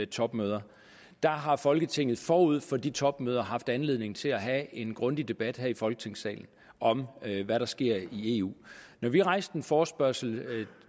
topmøder har folketinget forud for de topmøder haft anledning til at have en grundig debat her i folketingssalen om hvad der sker i eu når vi rejste en forespørgsel